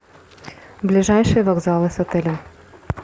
ближайшие вокзалы с отелем